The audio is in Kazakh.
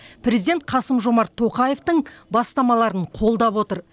президент қасым жомарт тоқаевтың бастамаларын қолдап отыр